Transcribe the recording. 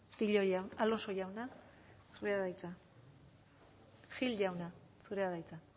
gordillo jauna zurea da hitza